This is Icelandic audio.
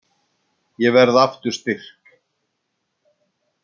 Ég verð aftur styrk.